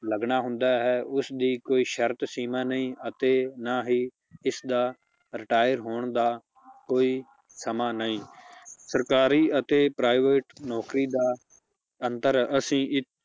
ਲੱਗਣਾ ਹੁੰਦਾ ਹੈ, ਉਸਦੀ ਕੋਈ ਸ਼ਰਤ ਸ਼ੀਮਾ ਨਹੀਂ ਅਤੇ ਨਾ ਹੀ ਇਸਦਾ retire ਹੋਣ ਦਾ ਕੋਈ ਸਮਾਂ ਨਹੀਂ ਸਰਕਾਰੀ ਅਤੇ private ਨੌਕਰੀ ਦਾ ਅੰਤਰ ਅਸੀਂ